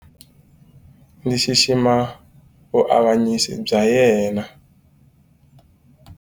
Ndzi xixima vuavanyisi bya yena.